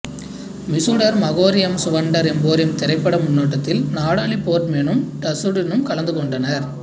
mister Magorium's wonder emporium திரைப்பட முன்னோட்டத்தில் Natalie போர்ட்மேனும் டசுடினும் கலந்துகொண்டனர்